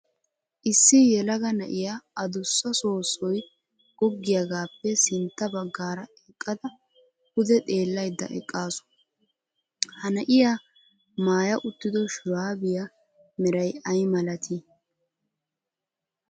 Issi yelaga na'iya addussa soossoy goggiyagappe sintta baggaara eqqada pude xeelaydda eqqaasu. Ha na'iyaa maaya uttido shuraabiya meray ay malati?